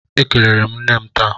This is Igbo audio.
Ekelere m nne m taa.